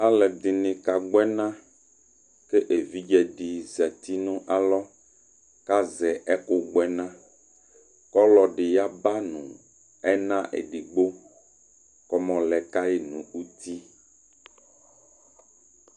alɛdɩnɩkagbɔ ɛna kʊ évɩdjédɩ zɛtɩ nalɔ kazɛ ɛkʊgbɔɛna kʊ ɔlɔdɩwaba nʊ ɛna édɩgbo kɔmawɔlɛkayi nʊtɩ